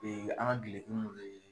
an ka dileki mun bɛ